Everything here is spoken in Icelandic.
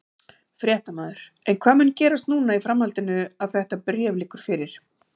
Fréttamaður: En hvað mun gerast núna í framhaldinu að þetta bréf liggur fyrir?